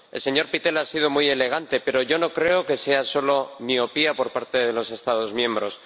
El señor Pittella ha sido muy elegante, pero yo no creo que sea solo miopía por parte de los Estados miembros.